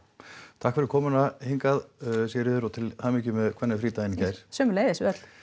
takk fyrir komuna hingað Sigríður og til hamingju með kvennafrídaginn í gær sömuleiðis